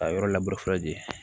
A yɔrɔ labure fɔlɔ de